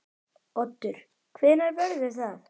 Oddur: Hvenær verður það?